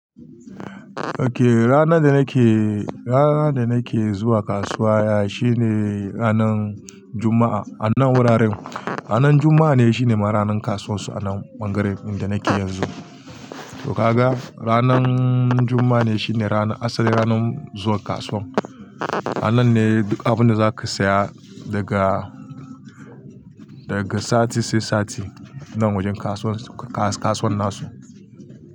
Okay, ranar da nake, ranar da nake zuwa kasuwa na shine ranan Juma'a. Anan wuraren, ranan Juma'a ne shine ma ranan kasuwar su anan Bangaren da nake yanzu. To ka ga, ranan Juma'a ne shine ranar, asali ranan zuwa kasuwan. Anan ne duk abinda zaka saya daga, daga sati sai sati nan wajen kasuwan, kasuwan nasu.